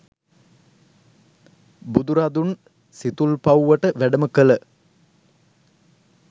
බුදුරදුන් සිතුල්පව්වට වැඩම කළ